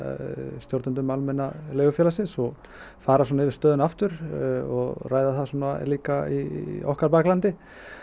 stjórnendum Almenna leigufélagsins og fara svona yfir stöðuna aftur og ræða það svona líka í okkar baklandi